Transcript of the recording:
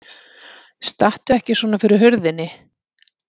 Stattu ekki svona fyrir hurðinni!